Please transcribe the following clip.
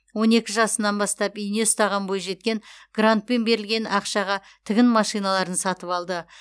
он екі жасынан бастап ине ұстаған бойжеткен грантпен берілген ақшаға тігін машиналарын сатып алды